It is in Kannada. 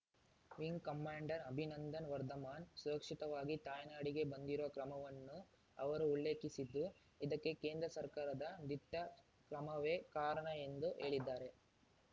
ವಿಂಗ್ ಕಮಾಂಡರ್ ಅಭಿನಂದನ್ ವರ್ಧಮಾನ್ ಸುರಕ್ಷಿತವಾಗಿ ತಾಯ್ನಾಡಿಗೆ ಬಂದಿರುವ ಕ್ರಮವನ್ನು ಅವರು ಉಲ್ಲೇಖಿಸಿದ್ದು ಇದಕ್ಕೆ ಕೇಂದ್ರ ಸರ್ಕಾರದ ದಿಟ್ಟ ಕ್ರಮವೇ ಕಾರಣ ಎಂದು ಹೇಳಿದ್ದಾರೆ